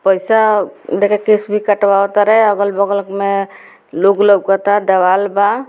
पैसा देके केस कटवतारे अगल-बगल में लोग लौकता देवाल बा।